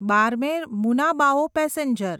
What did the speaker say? Barmer Munabao passenger